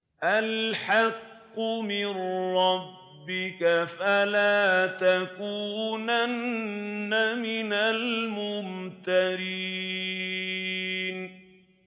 الْحَقُّ مِن رَّبِّكَ ۖ فَلَا تَكُونَنَّ مِنَ الْمُمْتَرِينَ